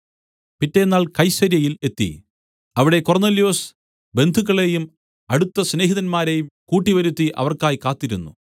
പിറ്റെന്നാൾ കൈസര്യയിൽ എത്തി അവിടെ കൊർന്നൊല്യോസ് ബന്ധുക്കളേയും അടുത്ത സ്നേഹിതന്മാരെയും കൂട്ടിവരുത്തി അവർക്കായി കാത്തിരുന്നു